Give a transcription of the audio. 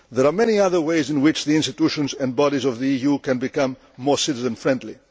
There are many other ways in which the institutions and bodies of the EU can become more citizen friendly.